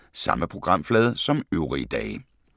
Samme programflade som øvrige dage